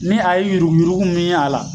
Ni a ye yurugu yurugu min ye a la